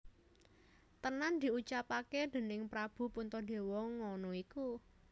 Tenan diucapake déning Prabu Puntadewa ngono iku